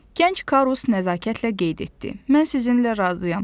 Gənc Karus nəzakətlə qeyd etdi: Mən sizinlə razıyam.